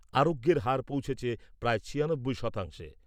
আরোগ্যের হার পৌঁছেছে প্রায় ছিয়ানব্বই শতাংশে।